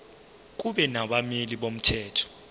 kube nabameli bomthetho